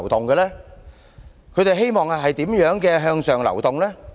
他們希望怎樣的向上流動？